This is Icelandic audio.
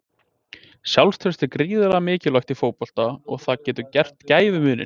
Sjálfstraust er gríðarlega mikilvægt í fótbolta og það getur gert gæfumuninn.